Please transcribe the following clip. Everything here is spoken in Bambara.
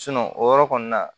o yɔrɔ kɔni na